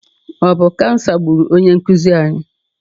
Ọ bụ kansa gburu onye nkuzi anyị?